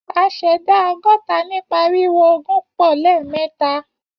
A ṣẹ̀dá ọgọ́ta nípa ríro ogún pọ̀ lẹ́ẹ̀mẹ́ta